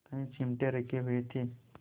कई चिमटे रखे हुए थे